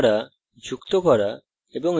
strings তৈরী করা যুক্ত করা